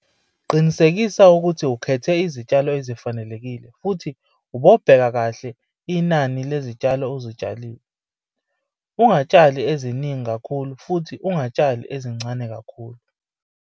Qinisekisa ukuthi ukhethe izitshalo ezifanelekile futhi ubobheka kahle ukuthi utshala inani lezitshalo - ungatshali ezininingi kakhulu futhi ungatshali ezincane kakhulu.